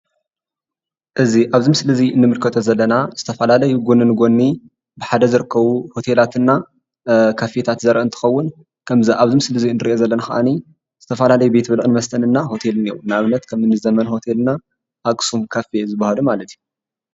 እዚ ኣብዚ ምስሊ እዚ ንምልከቶ ዘለና ዝተፈላለዩ ጎኒ ንጎኒ ብሓደ ዝርከቡ ሆቴላትን ካፌታት ዘርኢ እንትከዉን ከምዚ ኣብዚ ምስሊ ንሪኦ ዘለና ከዓኒ ዝተፈላለዩ ቤት ብልዕን መስተን እና ሆተል እኒኤው። ንኣብነት ከምኒ ዘመን ሆተል፣ ኣክሱም ካፌ ዝበሃሉ ማለት እዩ።